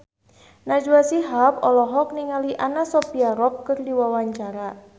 Najwa Shihab olohok ningali Anna Sophia Robb keur diwawancara